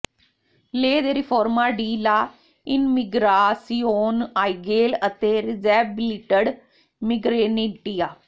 lay ਦੇ ਰਿਫੋਰਮਾ ਡੀ ਲਾ ਇਨਮੀਗਰਾਸੀਓਨ ਆਈਗੇਲ ਅਤੇ ਰਿਜ਼ੈਬਿਲਿਡਡ ਮਿਗਰੇਟੇਨੀਆ